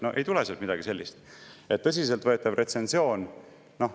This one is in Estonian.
No ei tule sealt midagi sellist!